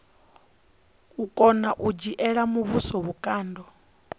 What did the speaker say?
kona u dzhiela muvhuso vhukando